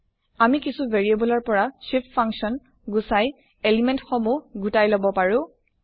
আমি কিছু ভেৰিএবল ৰ পৰা shift ফাংচন গুচাই এলিমেন্ট সমুহ গোটাই লব পাৰো